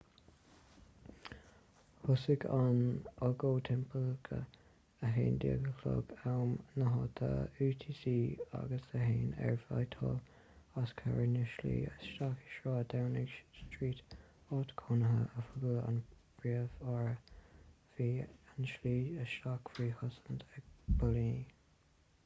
thosaigh an agóid timpeall 11:00 am na háite utc+1 ar whitehall os comhair na slí isteach i sráid downing street áit chónaithe oifigiúil an phríomh-aire. bhí an tslí isteach faoi chosaint ag póilíní